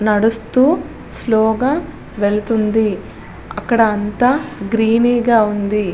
నడుస్తూ స్లో గా వెళ్తూది. అక్కడ అంతా గ్రీనీగా గా వుంది.